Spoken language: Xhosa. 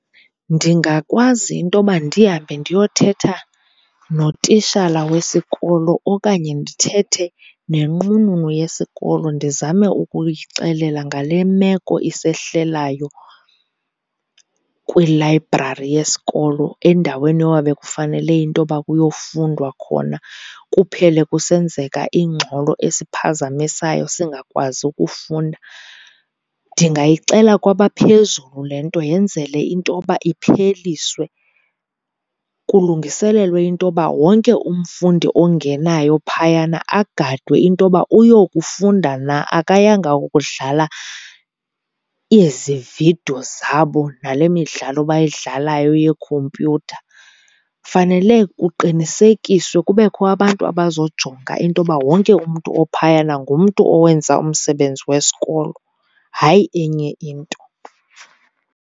Ndingakwazi into yoba ndihambe ndiyothetha notishala wesikolo okanye ndithethe nenqununu yesikolo. Ndizame ukuyixelela ngale meko isehlelayo kwilayibrari yesikolo, endaweni yoba bekufanele into yoba kuyofundwa khona kuphele kusenzeka ingxolo esiphazamisayo singakwazi ukufunda. Ndingayixela kwabaphezulu le nto, yenzele into yoba ipheliswe kulungiselelwe into yoba wonke umfundi ongenayo phayana agadwe into yoba uyokufunda na akayanga kudlala ezi vidiyo zabo nale midlalo bayidlalayo yeekhompyutha. Fanele kuqinisekiswe, kubekho abantu abazojonga into yoba wonke umntu ophayana ngumntu owenza umsebenzi wesikolo hayi enye into.